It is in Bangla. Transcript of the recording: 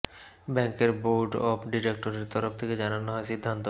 ব্যাঙ্কের বোর্ড অফ ডিরেক্টরের তরফ থেকে জানানো হয় সিদ্ধান্ত